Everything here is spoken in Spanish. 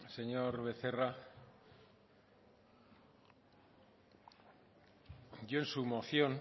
señor becerra yo en su moción